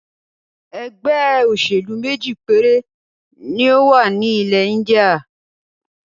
ẹgbẹ́-òsèlú méjì péré ni ó wà ní ilẹ̀-Íńdíà.